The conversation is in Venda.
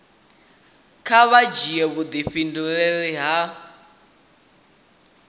kha vha dzhia vhudifhinduleli ha